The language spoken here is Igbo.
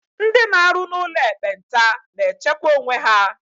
Ndị n'arụ n'ụlọ ekpenta na na-echekwa onwe ha.